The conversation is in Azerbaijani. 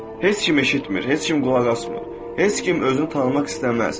Heç kim eşitmir, heç kim qulaq asmır, heç kim özünü tanımaq istəməz.